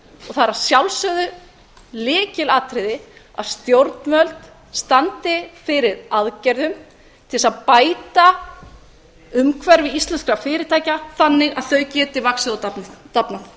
og það er að sjálfsögðu lykilatriði að stjórnvöld standi fyrir aðgerðum til þess að bæta umhverfi íslenskra fyrirtækja þannig að þau geti vaxið og dafnað